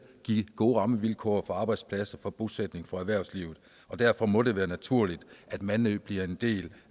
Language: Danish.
give gode rammevilkår for arbejdspladser for bosætning og for erhvervslivet og derfor må det være naturligt at mandø bliver en del